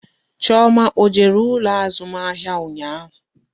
Chioma ọ jere ụlọ azụmahịa ụnyaahụ?